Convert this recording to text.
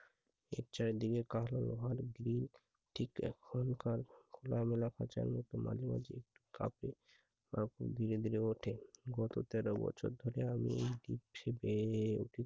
চারিদিকে ঘিরে ঠিক এখনকার খোলামেলা খাঁচার মতো মাঝে মাঝে একটু কাপে। আর খুব ধীরে ধীরে ওঠে। গত তেরো বছর ধরে আমি এই